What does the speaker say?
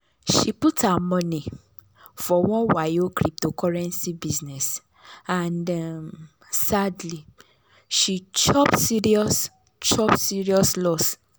she put her money for one wayo cryptocurrency business and um sadly she chop serious chop serious loss.